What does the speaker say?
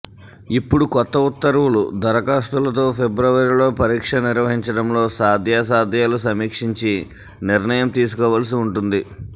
ఇప్పుడు కొత్త ఉత్తర్వులు దరఖాస్తులతో ఫిబ్రవరిలో పరీక్ష నిర్వహించడంలో సాద్యాసాధ్యాలు సమీక్షించి నిర్ణయం తీసుకోవలసి వుంటుంది